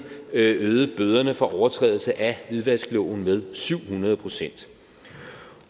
øgede bøderne for overtrædelse af hvidvaskloven med syv hundrede pct